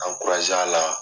a la.